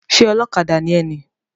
Ṣé ọlọ́kadà ni ẹ ni?